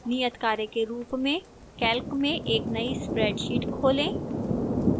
नियतकार्य के रूप में calc में एक नई spreadsheet खोलें